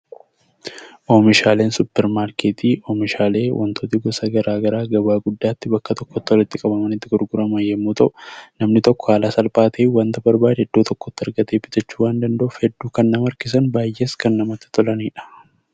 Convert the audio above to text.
Oomishaaleen suupermaarkeetii oomishaalee waantonni gosa garaagaraa gabaatti bakka tokkotti walitti qabamanii gurguraman yemmuu ta'u, namni tokko haala salphaa ta'een waanta barbaade Iddoo tokkotti argachuu waan danda'uuf hedduu kan nama harkisan, baayyees kan namatti tolanidha.